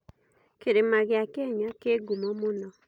Kĩrĩma gĩa Kenya kĩ ngumo mũno.